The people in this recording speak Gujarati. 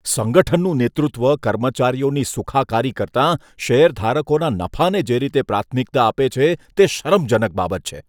સંગઠનનું નેતૃત્વ કર્મચારીઓની સુખાકારી કરતાં શેરધારકોના નફાને જે રીતે પ્રાથમિકતા આપે છે, તે શરમજનક બાબત છે.